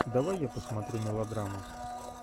давай я посмотрю мелодраму